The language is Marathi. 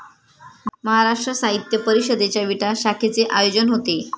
महाराष्ट्र साहित्य परिषदेच्या विटा शाखेचे आयोजन होते.